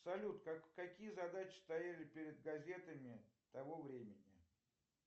салют какие задачи стояли перед газетами того времени